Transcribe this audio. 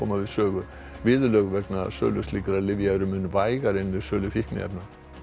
við sögu viðurlög vegna sölu slíkra lyfja eru mun vægari en við sölu fíkniefna